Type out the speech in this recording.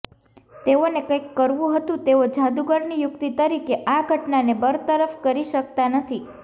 તેઓને કંઈક કરવું હતું તેઓ જાદુગરની યુક્તિ તરીકે આ ઘટનાને બરતરફ કરી શકતા નથી